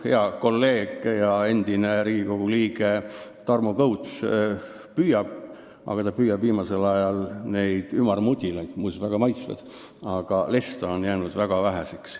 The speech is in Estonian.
Hea kolleeg ja endine Riigikogu liige Tarmo Kõuts püüab kala, aga ta püüab viimasel ajal neid ümarmudilaid , sest lesta on jäänud väga väheks.